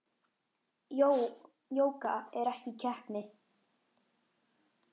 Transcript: Jóga er ekki keppni.